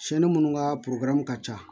minnu ka ka ca